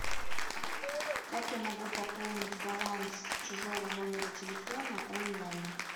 как я могу пополнить баланс чужого номера телефона онлайн